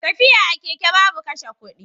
Tafiya a keke babu kashe kudi.